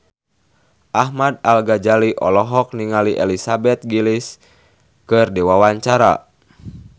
Ahmad Al-Ghazali olohok ningali Elizabeth Gillies keur diwawancara